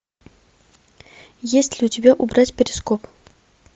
есть ли у тебя убрать перископ